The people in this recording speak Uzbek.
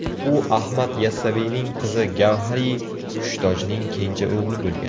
U Ahmad Yassaviyning qizi Gavhari Hushtojning kenja o‘g‘li bo‘lgan.